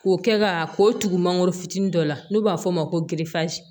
K'o kɛ ka k'o tugu mangoro fitiinin dɔ la n'u b'a fɔ o ma ko